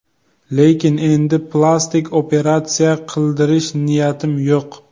Lekin endi plastik operatsiya qildirish niyatim yo‘q”.